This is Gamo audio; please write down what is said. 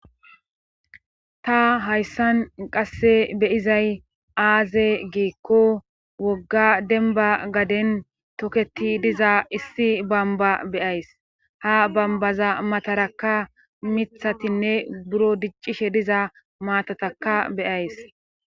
ta hayssan qasse beyizay aaze geekko wogga denba gaden toketi diza issi bamba beyays ha bambaza matarakka mithatinne buro diccishe diza maatataka beyays